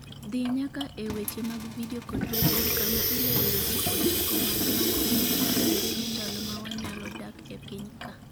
dhi nyaka e weche mag Vidio kod Redio kama ilero weche ochiko madongo motenore gi ndalo mawanyalo dak e piny ka